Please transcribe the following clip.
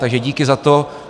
Takže díky za to.